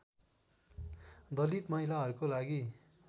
दलित महिलाहरूको लागि